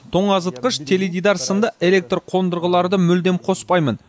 тоңазытқыш теледидар сынды электр қондырғыларды мүлдем қоспаймын